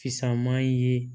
Fisaman ye